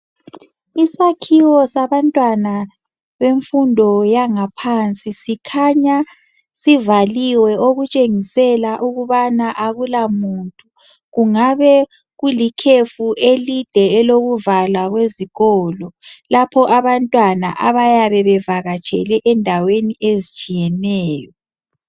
Isakhiwo sabantwana bemfundo yangaphansi sikhanya sivaliwe okutshengisela ukubana akulamuntu kungabe kulikhefu elide elokuvalwa kwezikolo lapho abantwana abayabe bevakatshele endaweni ezitshiyeneyo.